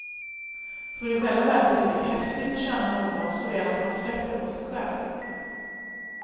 För i själva verket är det häftigt att känna någon så väl att man släpper på sig själv.